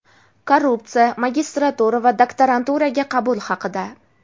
Korrupsiya, Magistratura va Daktaranturaga qabul haqida.